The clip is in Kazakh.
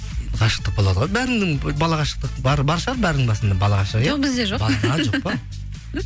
ғашықтық болады ғой бәрінің бала ғашықтық бар шығар бәрінің басында бала ғашық иә жоқ бізде жоқ а жоқ па